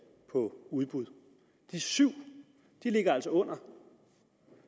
for udbud de syv ligger altså under